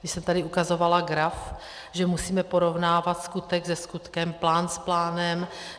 Když jsem tady ukazovala graf, že musíme porovnávat skutek se skutkem, plán s plánem.